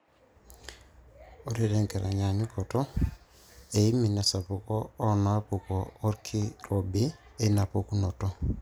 ore tenkitanyaanyukoto, emion esapuk oonaapuku orkirobi eina pukunoto.